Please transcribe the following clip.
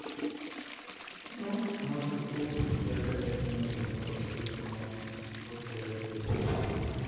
ну можешь попробовать я конечно не был на острове но повторяю тебе чувства